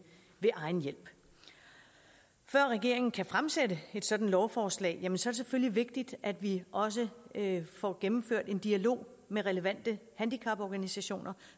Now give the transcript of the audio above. ved egen hjælp før regeringen kan fremsætte et sådant lovforslag er det selvfølgelig vigtigt at vi også får gennemført en dialog med relevante handicaporganisationer